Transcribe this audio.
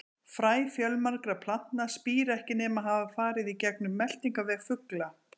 Fræ fjölmargra plantna spíra ekki nema hafa farið í gegnum meltingarveg fugla.